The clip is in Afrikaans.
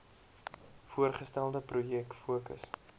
voorgestelde projek fokus